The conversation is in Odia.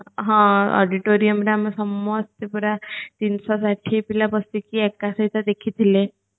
ହଁ auditoriumରେ ଆମେ ସମସ୍ତେ ପୁରା ତିନିଶହ ଷାଠିଏ ପିଲା ବସିକି ଏକା ସହିତ ଦେଖିଥିଲେ